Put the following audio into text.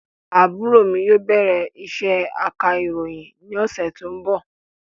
Àbúrò mi yóò bẹ̀rẹ̀ isé aka ìròyìn ni ọ̀sẹ̀ tó ń bọ̀